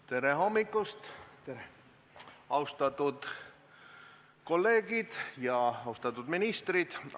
Tere hommikust, austatud kolleegid ja austatud ministrid!